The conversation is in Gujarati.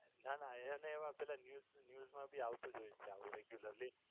ના ના એને એવા પેલા News મા ભી આવતું જ હોય છે regularly